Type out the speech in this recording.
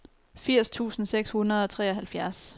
firs tusind seks hundrede og treoghalvfjerds